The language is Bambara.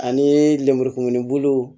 Ani lemurukumuniw